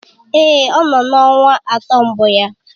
Èé, ọ nọ na ọnwa atọ mbụ ya.